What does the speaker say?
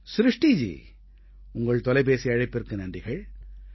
ஸ்ருஷ்டிஜி உங்கள் தொலைபேசி அழைப்பிற்கு நன்றிகள்